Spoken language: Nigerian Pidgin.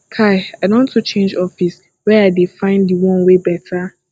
kai i don to change office were i dey find di one wey beta